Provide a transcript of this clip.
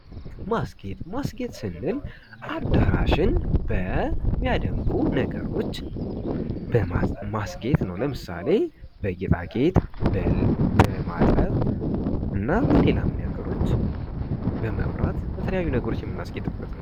ማስጌጥ ስንል አዳራሽን በሚያደምቁ ነገሮች አስጌጥ ነው ለምሳሌ በጌጣጌጥ እናም በሌላ ነገሮች እና በመብራትም በሌላም ነገሮች የምናስጌጥበት ነው።